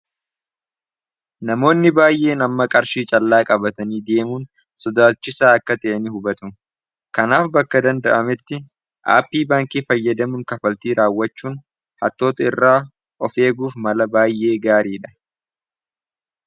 namoonni baay'ee namma qarshii callaa qabatanii deemuun sodaachisaa akka ta'ini hubatu kanaaf bakka danda'ametti aappii baankii fayyadamuun kafaltii raawwachuun hattoota irraa ofeeguuf mala baay'ee gaarii dha